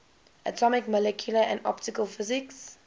atomic molecular and optical physics